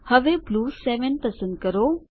હવે બ્લૂ 7 પસંદ કરો